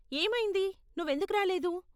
ఏమయింది, నువ్వు ఎందుకు రాలేదు?